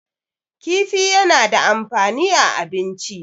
kifi yana da amfani a abinci